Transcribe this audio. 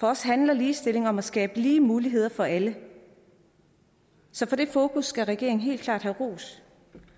for os handler ligestilling om at skabe lige muligheder for alle så for det fokus skal regeringen helt klart have ros